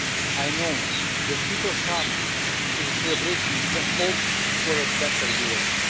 I know that people come to the celebration with the hope of a better Europe.